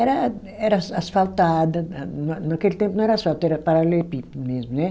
Era era as asfaltada, na naquele tempo não era asfalto, era paralelepípedo mesmo, né.